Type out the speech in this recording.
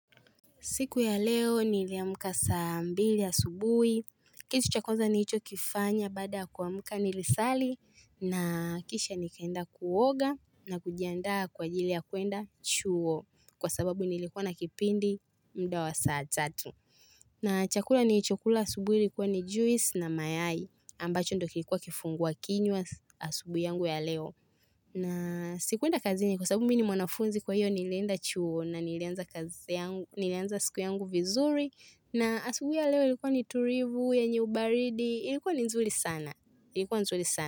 Siku ya leo niliamka saa mbili asubuhi, kitu cha kwanza nilicho kifanya baada ya kuamka nilisali na kisha nikaenda kuoga na kujiandaa kwa ajili ya kuenda chuo kwa sababu nilikuwa na kipindi mda wa saa tatu. Na chakula nilichokula asubuhi ilikuwa ni juice na mayai ambacho ndo kilikuwa kifungua kinywa asubuhi yangu ya leo. Na sikuenda kazini kwa sababu mimi ni mwanafunzi kwa hiyo nilienda chuo na nilianza siku yangu vizuri na asubuhi ya leo ilikuwa ni tulivu yenye ubaridi ilikuwa nzuri sana.